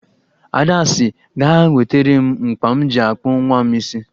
Ada sị ga-ewetere m mkpa m ji akpụ nwa m isi